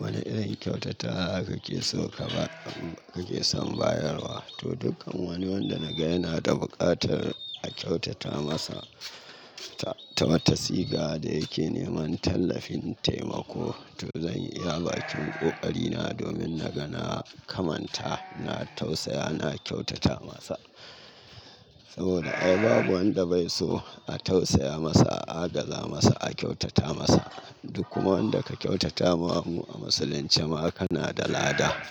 Wane irin kyautata kake so ka ba-- kake son bayarwa? To, dukkan wani wanda na ga yana da buƙatar a kyautata masa ta wata siga da yake neman tallafin taimako, to zan iya baƙin ƙoƙarina domin na ga na kamanta na tausaya na kyautata masa. Saboda ai babu wanda bai so a tausaya masa, a agaza masa, a kyautata masa. Duk kuma wanda ka kyautatama wa mu a musulince ma kana da lada.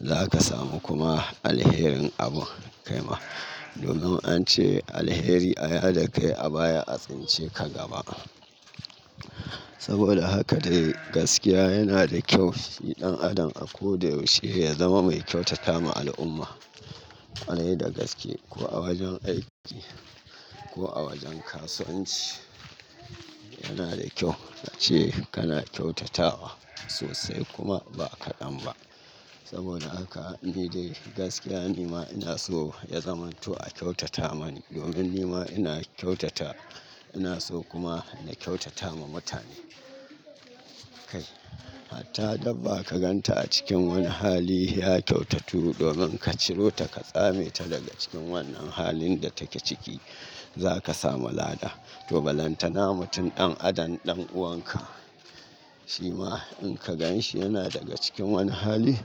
Za ka samu kuma alherin abun. Kai ma, domin an ce alheri aya da kai a baya a tsinci ka gaba. Saboda haka dai gaskiya yana da kyau fiɗan adam a ko da yaushe ya zama mai kyautata ma al'umma. A yi da gaske ko a wajen aiki ko a wajen kasuwanci, yana da kyau ka ce kana kyautatawa sosai kuma ba ka ɗan ba. Saboda haka ni dai gaskiya ni ma ina so ya zamanto a kyautata mani domin ni ma ina kyautata. Ina so kuma na kyautata ma mutane. Kai, hatta dabba ka gan ta a cikin wani hali ya kyautatu domin ka ciro ta ka tsame ta daga cikin wannan halin da take ciki, za ka samu lada. To, balantana mutum ɗan adam ɗan uwanka shi ma in ka ganshi yana daga cikin wani hali,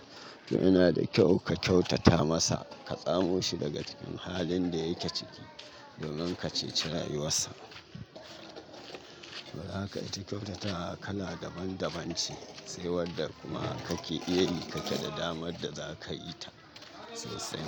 to yana da kyau ka kyautata masa. Ka tsamo shi daga cikin halin da yake ciki domin ka ceci rayuwarsa. Saboda haka ita kyautata kala daban-daban ce, sai wadda kuma kake iya yi kake da damar da za ka yi ta sosai.